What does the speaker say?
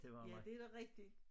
Ja det da rigtig